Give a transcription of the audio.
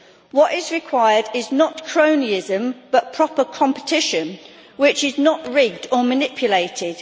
What is required is not cronyism, but proper competition which is not rigged or manipulated.